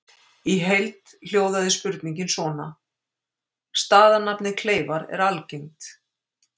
Í heild hljóðaði spurningin svona: Staðarnafnið Kleifar er algengt.